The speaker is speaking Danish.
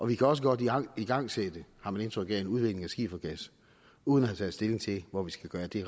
vi kan også godt igangsætte har man indtryk af en udvinding af skifergas uden at have taget stilling til hvor vi skal gøre af det